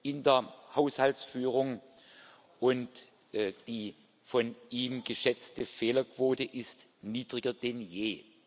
in der Haushaltsführung, und die von ihm geschätzte Fehlerquote ist niedriger denn je.